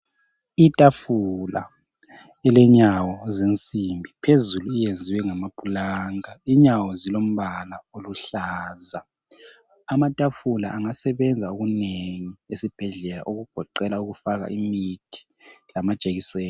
Itafula ilenyawo zensimbi phezulu iyenziwe ngama pulanka inyawo zilombala oluhlaza .Amatafula angasebenza okunengi esibhedlela okugoqela ukufaka imithi lama jekiseni .